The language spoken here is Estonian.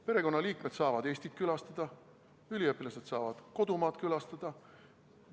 Perekonnaliikmed saavad Eestit külastada, üliõpilased saavad kodumaad külastada.